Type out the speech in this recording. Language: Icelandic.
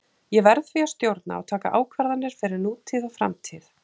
Ég verð því að stjórna og taka ákvarðanir fyrir nútíð og framtíð.